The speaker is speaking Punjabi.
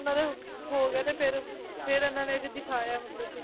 ਹੋ ਗਏ ਤੇ ਫਿਰ ਫਿਰ ਇਹਨਾਂ ਨੇ ਦਿਖਾਇਆ ਮਤਲਬ ਕਿ